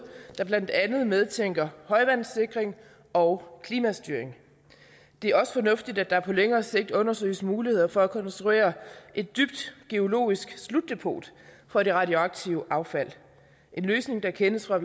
der blandt andet medtænker højvandesikring og klimastyring det er også fornuftigt at der på længere sigt undersøges muligheder for at konstruere et dybt geologisk slutdepot for det radioaktive affald en løsning der kendes fra